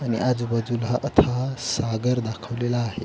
आणि आजूबाजूला अथांग सागर दाखवलेला आहे.